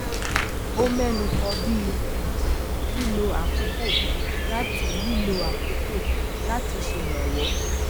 ó ménu kan bí um lílo àkókò láti lílo àkókò láti ṣèrànwọ